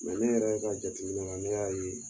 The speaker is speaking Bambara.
ne yɛrɛ ka jateminɛ la ne y'a ye